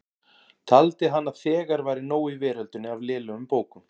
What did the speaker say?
Taldi hann að þegar væri nóg í veröldinni af lélegum bókum.